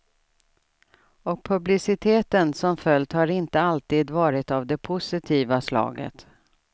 Och publiciteten som följt har inte alltid varit av det positiva slaget.